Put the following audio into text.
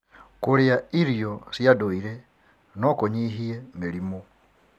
Kũrĩa irio cia ndũire no kũnyihie mĩrimũ.